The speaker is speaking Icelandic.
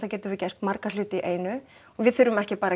getum við gert marga hluti í einu og við þurfum ekki að